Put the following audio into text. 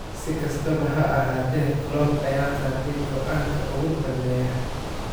Si kastaba ha ahaatee Klopp ayaa qaatay go'aanka ugu dambeeya.